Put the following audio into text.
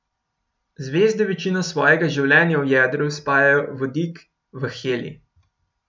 Zvezde večino svojega življenja v jedru spajajo vodik v helij.